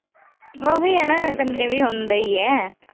ਉਹੀ ਹੈ ਨਾ ਕੱਲੇ ਵੀ ਹੁੰਦਾ ਈ ਆ।